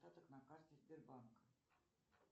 остаток на карте сбербанка